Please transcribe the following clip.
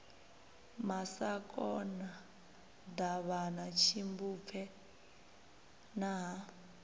masakona davhana tshimbupfe na ha